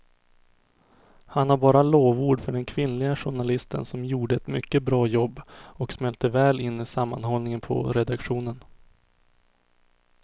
Han har bara lovord för den kvinnliga journalisten som gjorde ett mycket bra jobb och smälte väl in i sammanhållningen på redaktionen.